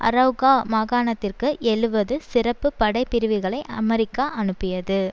அரெளகா மாகாணத்திற்கு எழுவது சிறப்பு படை பிரிவுகளை அமெரிக்கா அனுப்பியது